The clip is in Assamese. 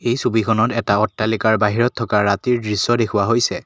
এই ছবিখনত এটা অট্টালিকাৰ বাহিৰত থকা ৰাতিৰ দৃশ্য দেখুওৱা হৈছে।